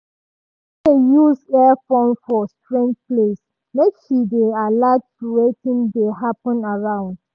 she no dey use earphone for strange place make she dey alert to wetin dey happen around.